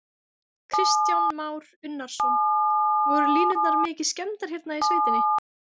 Kristján Már Unnarsson: Voru línurnar mikið skemmdar hérna í sveitinni?